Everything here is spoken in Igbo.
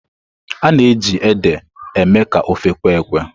A na-eji ede eme ka ofe kwe-ekwe.